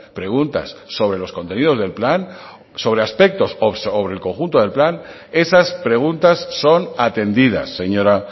preguntas sobre los contenidos del plan sobre aspectos o sobre el conjunto del plan esas preguntas son atendidas señora